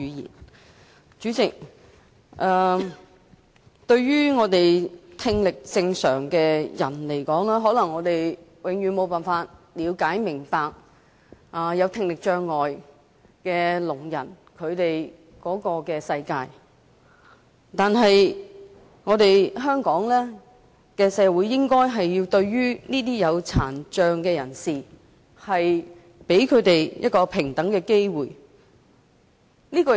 代理主席，聽力正常的人可能永遠無法了解聽障人士的世界，但香港社會應該讓殘障人士享有平等的機會。